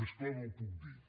més clar no ho puc dir